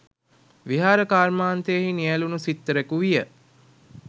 විහාර කර්මාන්තයෙහි නියැලුණු සිත්තරෙකු විය.